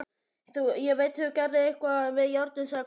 Ég veit þú gerðir eitthvað við járnið, sagði Kobbi pirraður.